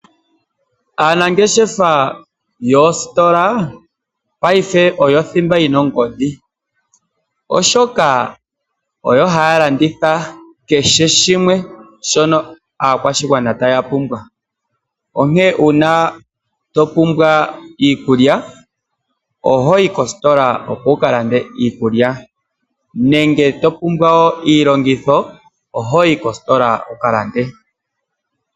Aanangeshefa yoositola ngashingeyi oyo othimba yina ongodhi. Oshoka oyo haalanditha keheshimwe shono aakwashigwana taya pumbwa . Onkene unaa topumbwa iikulya ohoyi kositola opo wukalande iikulya nenge topumbwa iilongitho ohoyi kositola wukalande.